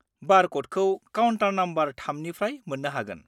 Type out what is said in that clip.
-बार कडखौ counter number 3 निफ्राय मोन्नो हागोन।